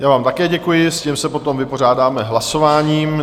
Já vám také děkuji, s tím se potom vypořádáme hlasováním.